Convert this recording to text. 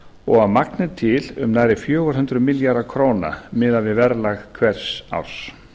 og að magni til um nærri fjögur hundruð milljarða króna miðað við verðlag hvers árs